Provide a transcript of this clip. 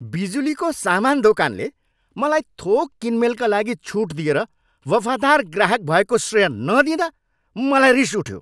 बिजुलीको समान दोकानले मलाई थोक किनमेलका लागि छुट दिएर वफादार ग्राहक भएको श्रेय नदिँदा मलाई रिस उठ्यो।